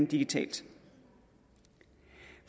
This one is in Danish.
digitalt